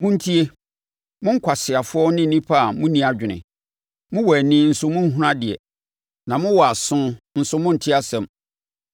Montie, mo nkwaseafoɔ ne nnipa a monni adwene, mowɔ ani nso monhunu adeɛ, na mowɔ aso nso monte asɛm: